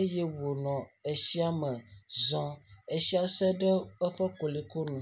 eye wònɔ tsia me zɔm, tsia se eƒe koloe me.